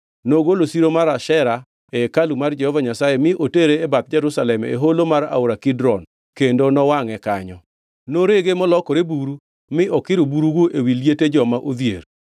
Ne ogolo siro mar Ashera e hekalu mar Jehova Nyasaye mi otere e bath Jerusalem e holo mar aora Kidron kendo nowangʼe kanyo. Norege molokore buru mi okiro burugo ewi liete joma odhier.